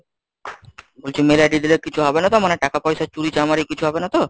বলছি mail ID দিলে কিছু হবে না তো?